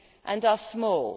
and are small.